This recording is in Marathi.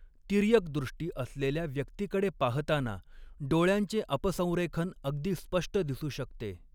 तिर्यकदृष्टी असलेल्या व्यक्तीकडे पाहताना, डोळ्यांचे अपसंरेखन अगदी स्पष्ट दिसू शकते.